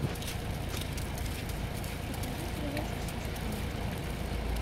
покажи передачу хистори на тв